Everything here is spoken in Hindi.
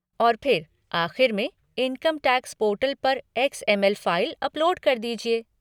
और फिर, आख़िर में, इनकम टैक्स पोर्टल पर एक्स.एम.एल. फ़ाइल अपलोड कर दीजिए।